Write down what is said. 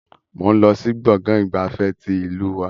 Mo ń lọ sí gbọ̀ngàn ìgbafẹ́ tí ìlú wa.